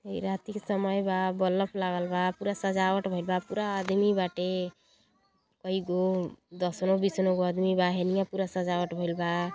ई राती के समय बा बलफ लागल बा पूरा सजावट भईल बा पूरा आदमी बाटे कई गो दसनो बीसनो गो अदमी बा। हेनिया पूरा सजावट भईल बा।